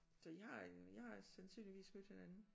Så I har I har sandsynligvis mødt hinanden